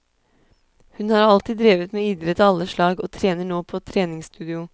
Hun har alltid drevet med idrett av alle slag, og trener nå på treningsstudio.